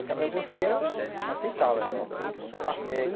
Cabe a você aceitá-las, né?